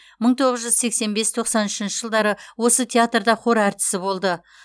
мың тоғыз жүз сексен бес тоқсан үшінші жылдары осы театрда хор әртісі болды